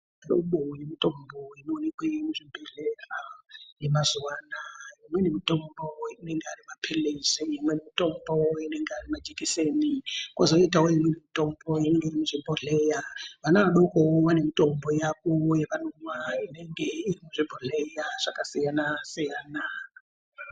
Hlobo yemitombo inoonekwe muzhibhedhleya yemazuwa anaaa imweni mitombo inenga ari mapilizi imweni mitombo anenga ari majikisenikwozoitawo imweni mitombo onenga iri muzvibhodhleya ana adokowo vane mitambo yavo yavanomwa inenge iri muzvibhodhleya zvakasiyana siyana.